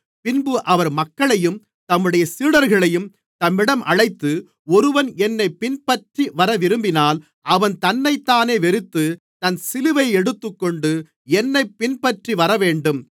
பின்பு அவர் மக்களையும் தம்முடைய சீடர்களையும் தம்மிடம் அழைத்து ஒருவன் என்னைப் பின்பற்றிவரவிரும்பினால் அவன் தன்னைத்தானே வெறுத்து தன் சிலுவையை எடுத்துக்கொண்டு என்னைப் பின்பற்றி வரவேண்டும்